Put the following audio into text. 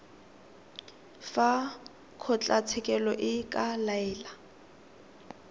fa kgotlatshekelo e ka laela